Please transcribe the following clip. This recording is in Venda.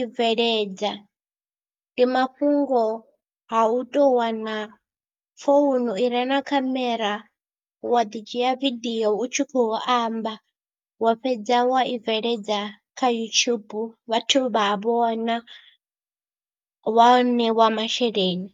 i bveledza ndi mafhungo ha u tou wana founu i re na khamera, wa ḓidzhia ya video u tshi khou amba, wa fhedza wa i bveledza kha YouTube vhathu vha vhona wa ṋewa masheleni.